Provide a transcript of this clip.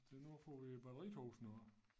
Se nu får vi batteritog snart